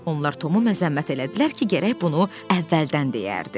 Onlar Tomu məzəmmət elədilər ki, gərək bunu əvvəldən deyərdi.